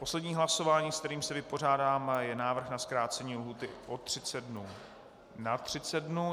Poslední hlasování, s kterým se vypořádáme, je návrh na zkrácení lhůty o 30 dnů na 30 dnů.